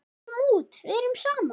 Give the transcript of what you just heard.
Förum út, verum saman.